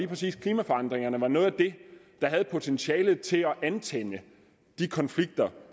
præcis klimaforandringerne er noget af det der har potentialet til at antænde de konflikter